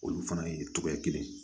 Olu fana ye togoya kelen ye